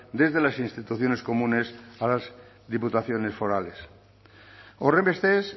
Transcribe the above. desde las instituciones comunes a las diputaciones forales horrenbestez